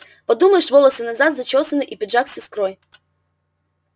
подумаешь волосы назад зачёсаны и пиджак с искрой